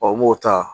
n b'o ta